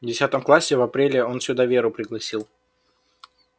в десятом классе в апреле он сюда веру пригласил